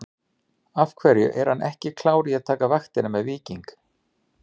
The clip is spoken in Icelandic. Af hverju er hann ekki klár í að taka vaktina með Víking?